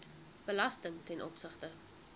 belasting ten opsigte